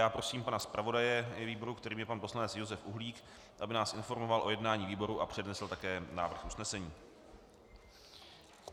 Já prosím pana zpravodaje výboru, kterým je pan poslanec Josef Uhlík, aby nás informoval o jednání výboru a přednesl také návrh usnesení.